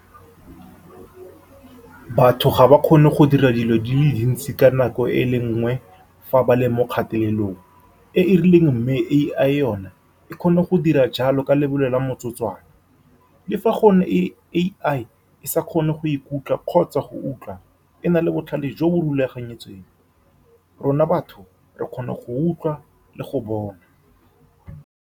Batho ga ba kgone go dira dilo di le dintsi ka nako e le nngwe fa ba le mo kgatelelong e e rileng, mme A_I yone e kgone go dira jalo ka lebelo la motsotswana. Le fa gone A_I e sa kgone go ikutlwa kgotsa go utlwa, e na le botlhale jo bo rulagantsweng, rona batho re kgona go utlwa le go bona.